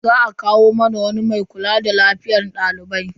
Za a kawo mana wani mai kula da lafiyar dalibai.